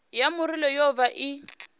ya murole yo vha i